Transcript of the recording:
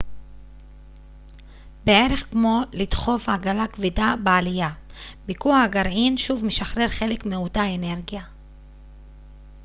בערך כמו לדחוף עגלה כבדה בעלייה ביקוע הגרעין שוב משחרר חלק מאותה אנרגיה